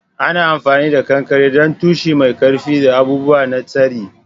Ana amfani da kankare don tushe mai ƙarfi da abubuwa na tsari.